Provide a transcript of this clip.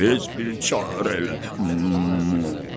Tez bir çarə elə.